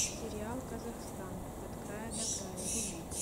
сериал казахстан от края до края вруби